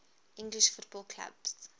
english football clubs